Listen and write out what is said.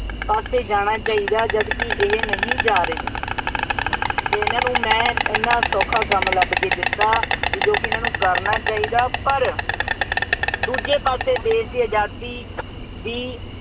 ਪਾਸੇ ਜਾਣਾ ਚਾਹੀਦਾ ਜਦਕਿ ਇਹ ਨਹੀਂ ਜਾ ਰਹੇ ਅਤੇ ਇਹਨਾ ਨੂੰ ਮੈਂ ਐਨਾ ਸੌਖਾ ਕੰਮ ਲੱਭ ਕੇ ਦਿੱਤਾ ਬਈ ਜੋ ਕਿ ਇਹਨਾ ਨੂੰ ਕਰਨਾ ਚਾਹੀਦਾ ਪਰ ਦੂਜੇ ਪਾਸੇ ਦੇਸ਼ ਦੀ ਆਜ਼ਾਦੀ ਦੀ